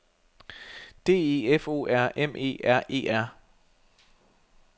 D E F O R M E R E R